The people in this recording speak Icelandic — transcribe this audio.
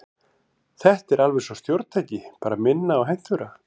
Þetta er alveg eins stjórntæki, bara minna og hentugra.